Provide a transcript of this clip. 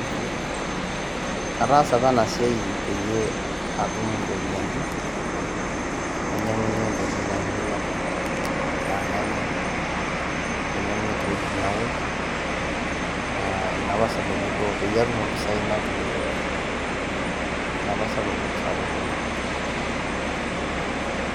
Ataasa apa enasia pee atum iropiani mainyangunyie intokitin ainei enaa endaa nanya ashu credit naosh inaduo apa sababu pee atum impesai naitumia